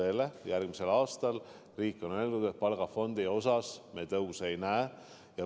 Riik on öeldud, et järgmisel aastal me palgafondi osas tõusu ei näe.